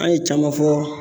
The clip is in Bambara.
An ye caman fɔ